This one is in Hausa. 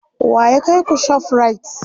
wa ya kaiku ShopRite?